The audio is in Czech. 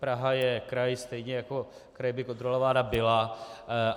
Praha je kraj, stejně jako kraj by kontrolována byla.